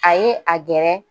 A ye a gɛrɛ